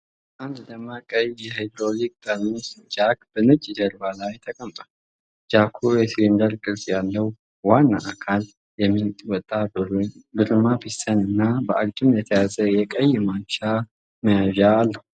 አንድ ደማቅ ቀይ የሃይድሮሊክ ጠርሙስ ጃክ በነጭ ጀርባ ላይ ተቀምጧል። ጃኩ የሲሊንደር ቅርጽ ያለው ዋና አካል፣ የሚወጣ ብርማ ፒስተን እና በአግድም የተያዘ የቀይ ማንሻ መያዣ አለው።